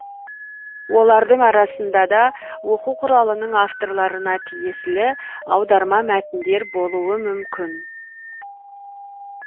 олардың арасында да оқу құралының авторларына тиесілі аударма мәтіндер болуы мүмкін